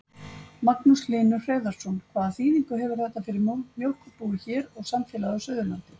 Magnús Hlynur Hreiðarsson: Hvaða þýðingu hefur þetta fyrir mjólkurbúið hér og samfélagið á Suðurlandi?